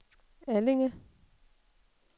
Allinge